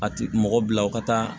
A ti mɔgɔ bila u ka taa